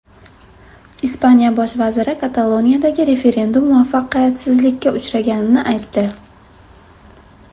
Ispaniya bosh vaziri Kataloniyadagi referendum muvaffaqiyatsizlikka uchraganini aytdi.